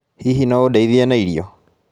Hihi no ũndeithie na irio?